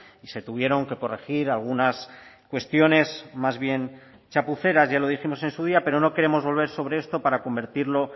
y se tuvieron que corregir algunas cuestiones más bien chapuceras ya lo dijimos en su día pero no queremos volver sobre esto para convertirlo